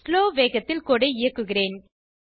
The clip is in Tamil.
ஸ்லோ வேகத்தில் கோடு ஐ இயக்குகிறேன்